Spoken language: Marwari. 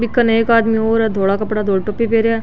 बी कने एक आदमी और है धोला कपडा धोली टोपी पहने है।